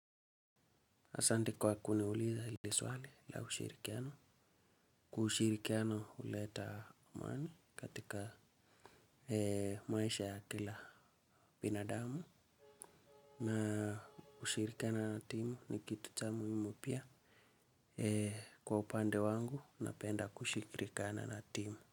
Asante kwa kuniuliza ili swali la ushirikiano. Ushirikiano huleta amani katika maisha ya kila binadamu. Na kushirikiana na timu ni kitu cha muhimu pia. Kwa upande wangu, napenda kushirikiana na timu.